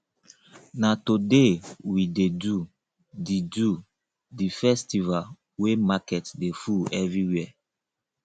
na today we dey do the do the festival wey market dey full everywhere